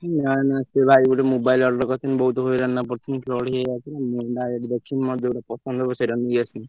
ନାଇ ନାଇ ସେ ଭାଇ ଗୋଟେ mobile order କରିଥିଲି ବହୁତ ହଇରାଣରେ ପଡିଥିଲି fraud ହେଇଯାଉଛି ମୁଁ direct ଦେଖିବି ମୋର ଯଉଠା ପସନ୍ଦ ହବ ସେଇଟା ନେଇଆସିବି।